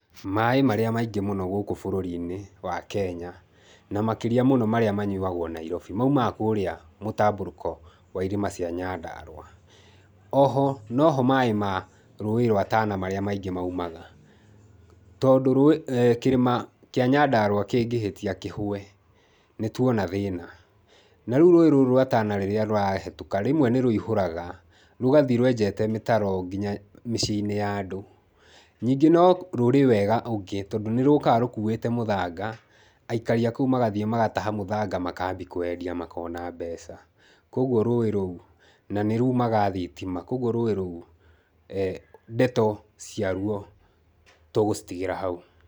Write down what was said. Maĩ marĩa maingĩ mũno gũkũ bũrũri-inĩ wa Kenya, na makĩria mũno marĩa manyuagwo Nairobi, maumaga kũrĩa mũtambũrũko wa irĩma cia Nyandarua. Oho noho maĩ ma rũĩ rwa Tana marĩa maingĩ maumaga. Tondũ rũĩ aah kĩrĩma kĩa Nyandarua kĩngĩhĩtia kĩhũe nĩ tuona thĩna. Na rĩu rũĩ rũrũ rwa Tana rĩrĩa rũrahetũka, rĩmwe nĩ rũihũraga, rũgathiĩ rwenjete mĩtaro nginya mĩciĩ-inĩ ya andũ. Nyingĩ no rũrĩ wega ũngĩ tondũ nĩ rũkaga rũkuĩte mũthanga, aikari a kũu magathiĩ magataha mũthanga makambia kũwendia makona mbeca. Kũguo rũĩ rũu na nĩrumaga thitima, kũguo rũĩ rũu aah ndeto cia ruo tũgũcitigĩra hau.